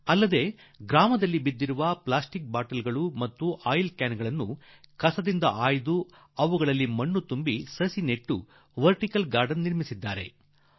ಇಷ್ಟೇ ಅಲ್ಲ ಹಳ್ಳಿಯಲ್ಲಿ ಸಿಗುವ ಪ್ಲಾಸ್ಟಿಕ್ ಸೀಸೆ ಅಥವಾ ಎಣ್ಣೆ ಕ್ಯಾನ್ ಗಳಂತಹ ಕಸದಲ್ಲಿ ಬಿದ್ದ ವಸ್ತುಗಳನ್ನು ಆರಿಸಿ ಒಟ್ಟು ಮಾಡಿ ಅವುಗಳಲ್ಲಿ ಮಣ್ಣು ತುಂಬಿ ಸಸಿಗಳನ್ನು ಬೆಳೆಸಿ ಗಿeಡಿಣiಛಿಟe ಉಚಿಡಿಜeಟಿ ಮಾಡಿದ್ದಾರೆ